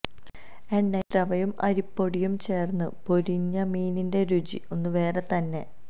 എണ്ണയിൽ റവയും അരിപ്പൊടിയും ചേർന്ന് പൊരിഞ്ഞ മീനിന്റെ രുചി ഒന്നു വേറെ തന്നെ